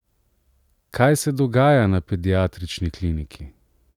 Kaj se dogaja na pediatrični kliniki?